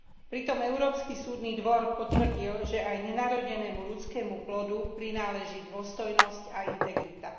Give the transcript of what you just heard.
Pritom Európsky súdny dvor potvrdil, že aj nenarodenému ľudskému plodu prináleží dôstojnosť a integrita.